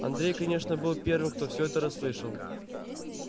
андрей конечно был первым кто всё это расслышал